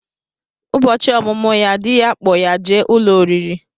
Ụbọchị ọmụmụ ya, dị ya kpọ ya jee ụlọ oriri